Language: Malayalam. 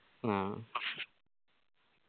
ആ